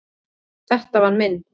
Þetta var minn.